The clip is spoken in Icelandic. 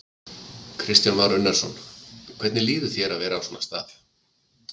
Kristján Már Unnarsson: Hvernig líður þér að vera á svona stað?